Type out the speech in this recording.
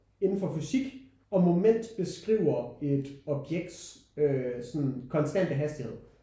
Inden for fysik hvor moment beskriver et objekts øh sådan konstante hastighed